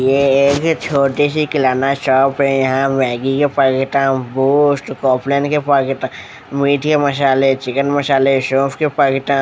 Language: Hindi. ये एक चोटी सी किराना शॉप है यहाँ मैगी के पैकेटा बूस्ट कॉम्प्लैन के पैकेटा मीट के मसाले चिकन मसाले सोफ़ के पैकेटा --